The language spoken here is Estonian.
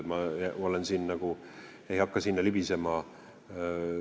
Ma ei hakka sinna libisema.